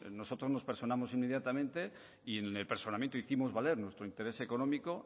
nosotros nos personamos inmediatamente y en el personamiento hicimos valer nuestro interés económico